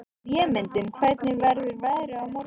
Vémundur, hvernig verður veðrið á morgun?